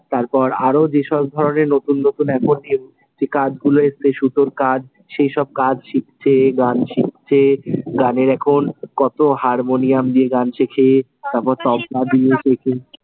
তারপর আরো যেসব ধরণের নতুন নতুন এখন যে কাজগুলো এসেছে, সুতোর কাজ, সেই সব কাজ শিখছে, গান শিখছে । গানের এখন কতো হারমনিয়াম দিয়ে গান শেখে তারপর তবলা দিয়ে শেখে।